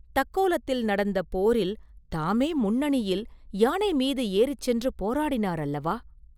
தக்கோலத்தில் நடந்த போரில் தாமே முன்னணியில் யானை மீது ஏறிச் சென்று போராடினார் அல்லவா?